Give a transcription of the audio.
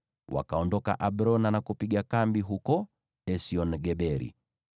Wakaondoka Abrona na kupiga kambi huko Esion-Geberi.